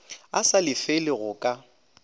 a sa lefele go ka